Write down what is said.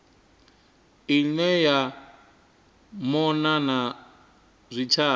ine ya mona na zwitshavha